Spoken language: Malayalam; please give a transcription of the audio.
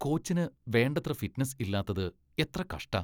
കോച്ചിന് വേണ്ടത്ര ഫിറ്റ്നസ് ഇല്ലാത്തത് എത്ര കഷ്ടാ!